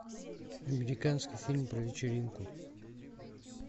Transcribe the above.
американский фильм про вечеринку